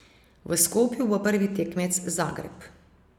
V Skopju bo prvi tekmec Zagreb.